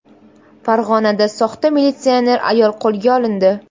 Farg‘onada soxta militsioner ayol qo‘lga olindi.